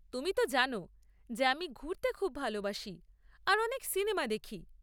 তুমি তো জানো যে আমি ঘুরতে খুব ভালবাসি আর অনেক সিনেমা দেখি।